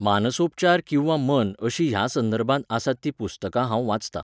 मानसोपचार किंवा मन अशीं ह्या संदर्भांत आसात तीं पुस्तकां हांव वाचतां